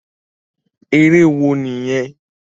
Eré wo nìyẹn?